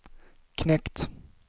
knekt